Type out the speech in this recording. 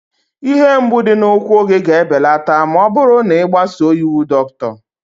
Ihe mgbu dị n'ụkwụ gị ga-ebelata ma ọ bụrụ na ị gbasoo iwu dọkịta